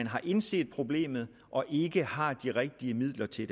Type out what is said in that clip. har indset problemet og ikke har de rigtige midler til at